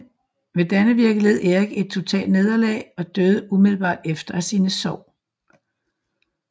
Ved Dannevirke led Erik et totalt nederlag og døde umiddelbart efter af sine sår